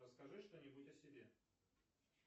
расскажи что нибудь о себе